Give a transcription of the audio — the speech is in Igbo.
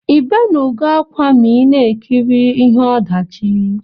Ibenugo akwa ma ina ekiri ihe ọdachi?